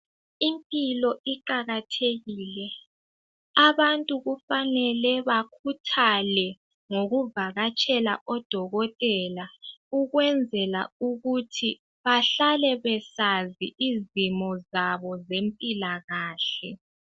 Impilo iqakathekile abantu kufanele bakhuthale ngokuvakatshela odokotela ukwenzela ukuthi bahlale besazi izimo zabo zempilakahle.